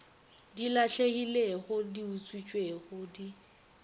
di lahlegilego di utswitšwego di